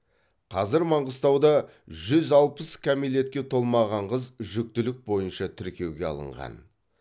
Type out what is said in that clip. қазір маңғыстауда жүз алпыс кәмелетке толмаған қыз жүктілік бойынша тіркеуге алынған